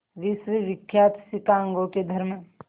विश्वविख्यात शिकागो के धर्म